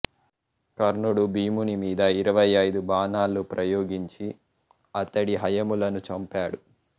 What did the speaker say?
కర్ణుడు భీముని మీద ఇరవై అయిదు బాణలులు ప్రయోగించి అతడి హయములను చంపాడు